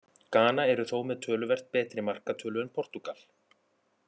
Gana eru þó með töluvert betri markatölu en Portúgal.